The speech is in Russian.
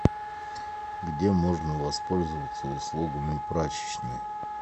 где можно воспользоваться услугами прачечной